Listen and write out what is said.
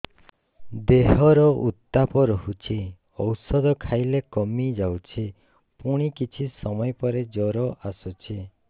ଦେହର ଉତ୍ତାପ ରହୁଛି ଔଷଧ ଖାଇଲେ କମିଯାଉଛି ପୁଣି କିଛି ସମୟ ପରେ ଜ୍ୱର ଆସୁଛି